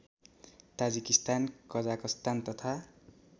Tajikistan Kazakhstan तथा